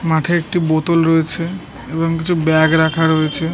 মাঠে একটি বোতল রয়েছে। এবং কিছু ব্যাগ রাখা রয়েছে ।